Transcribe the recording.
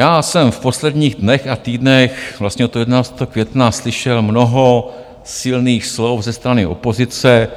Já jsem v posledních dnech a týdnech, vlastně od 11. května slyšel mnoho silných slov ze strany opozice,